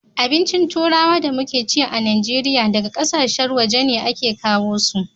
Abincin turawa da muke ci a najeriya daga ƙasar waje a ke kawo su